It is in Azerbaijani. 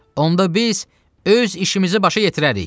Onda biz öz işimizi başa yetirərik.